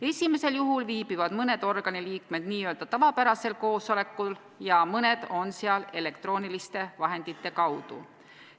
Esimesel juhul viibivad mõned organi liikmed n-ö tavapärasel koosolekul ja mõned on seal elektrooniliste vahendite vahendusel.